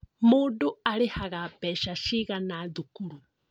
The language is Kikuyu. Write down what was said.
Mũndũ arĩhaga mbeca cigana thukuru?